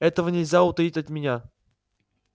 этого нельзя утаить от меня